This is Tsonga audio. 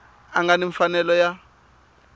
a nga ni mfanelo ya